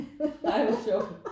Ej hvor sjovt